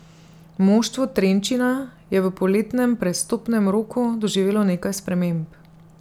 Moštvo Trenčina je v poletnem prestopnem roku doživelo nekaj sprememb.